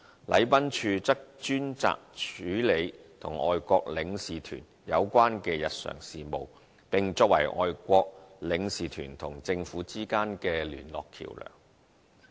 禮賓處則專責處理與外國領事團有關的日常事務，並作為外國領事團和政府之間的聯絡橋樑。